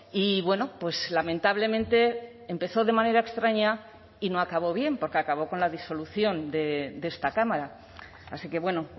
y bueno pues lamentablemente empezó de manera extraña y no acabó bien porque acabó con la disolución de esta cámara así que bueno